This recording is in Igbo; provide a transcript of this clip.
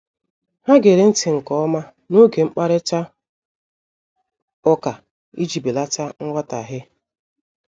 Ha gere nti nke ọma n'oge mkparịta ụka iji belata nghọtahie.